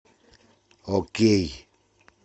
окей